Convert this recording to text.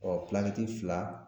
Ɔ fila